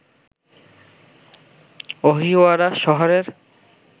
অহিওয়ারা শহরের